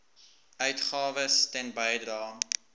uitgawes ten bedrae